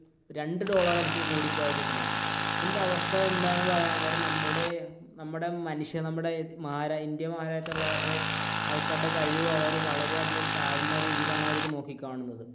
രണ്ടു ഡോളർ ആയിരിക്കും കൂടി പോയാൽ കിട്ടുന്നത് അതിന്റെ അവസ്ഥ എന്താണെന്ന് പറയാൻ നേരം നമ്മുടെ നമ്മുടെ മനുഷ്യ നമ്മുടെ ഇന്ത്യ മാഹാരാജ്യത്തു ഉള്ളവരുടെ ആൾക്കാരുടെ കഴിവ് അവർ വളരെയധികം താഴ്ന്ന രീതിയിലാണ് അവർ നോക്കിക്കാണുന്നത്.